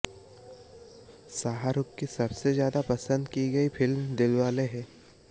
शाहरुख की सबसे ज्यादा पसंद की गई फिल्म दिलवाले है